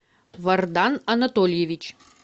вардан анатольевич